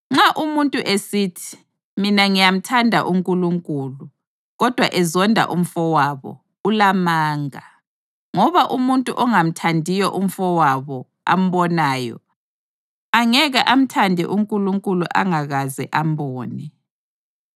Nxa umuntu esithi, “Mina ngiyamthanda uNkulunkulu,” kodwa ezonda umfowabo, ulamanga. Ngoba umuntu ongamthandiyo umfowabo ambonayo, angeke amthande uNkulunkulu angakaze ambone.